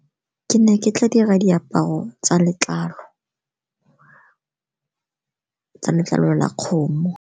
Ke ne ke tla dira diaparo tsa letlalo la kgomo.